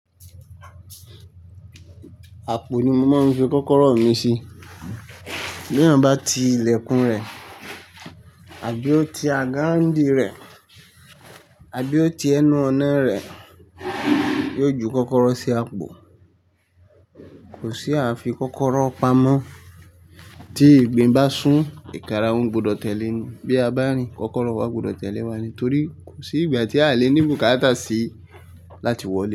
Àpò ni mo máa ń fi kọ́kọ́rọ́ mi sí. Bí èèyàn bá ti ilẹ̀kùn rẹ̀ àbí ó ti agáráǹdí rẹ̀ àbí ó ti ẹnu-ọ̀nà rẹ̀, yóò ju kọ́kọ́rọ́ sí àpò. Kò sí ààfi kọ́kọ́rọ́ pamọ́. Tí ìgbín bá sún ìkàràhun, gbudọ̀ tẹ̀lẹ́ ni. Bí a bá rìn kọ́kọ́rọ́ wá, ó gbudọ̀ tẹ̀lé wa torí kò sí ìgbà tí a le ní bùkátà sí láti wọlé.